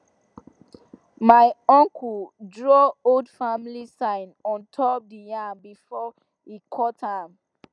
my uncle draw old family sign on top the yam before he cut am